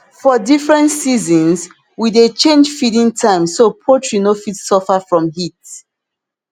for different seasons we dey change feeding time so poultry no fit suffer from heat